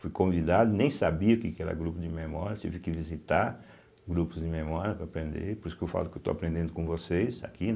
fui convidado, nem sabia o que que era grupo de memória, tive que visitar grupos de memória para aprender, por isso que eu falo que estou aprendendo com vocês aqui.